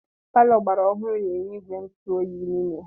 Paló ogbara ọhụụ na -enwe ìgwè ntụ oyi n'ime ya.